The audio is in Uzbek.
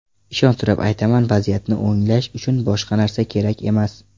Ishontirib aytaman, vaziyatni o‘nglash uchun boshqa narsa kerak emas.